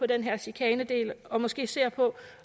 den her chikanedel og måske ser på